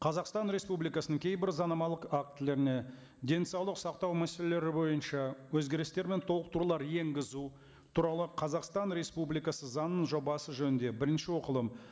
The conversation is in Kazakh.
қазақстан республикасының кейбір заңнамалық актілеріне денсаулық сақтау мәселелері бойынша өзгерістер мен толықтырулар енгізу туралы қазақстан республикасы заңының жобасы жөнінде бірінші оқылым